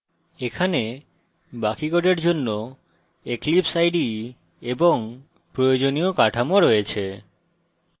এখানে বাকি code জন্য eclipse ide এবং প্রয়োজনীয় কাঠামো রয়েছে